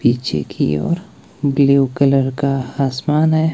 पीछे की ओर ब्लू कलर का आसमान है।